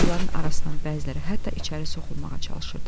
Onların arasından bəziləri hətta içəri soxulmağa çalışırdı.